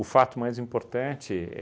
O fato mais importante é